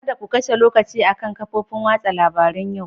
Kada ku kashe lokaci akan kafofin watsa labarun yau.